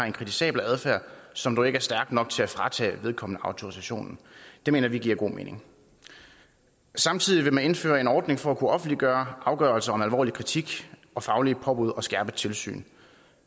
en kritisabel adfærd som dog ikke er stærk nok til at fratage vedkommende autorisationen det mener vi giver god mening samtidig vil man indføre en ordning for at kunne offentliggøre afgørelser om alvorlig kritik og faglige påbud og skærpet tilsyn